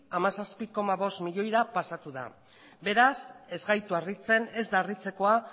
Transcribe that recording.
hamazazpi koma bost milioira pasatu da beraz ez da harritzekoa